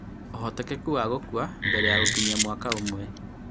Ũhotekeku wa gũkua mbere ya gũkinyia mwaka ũmwe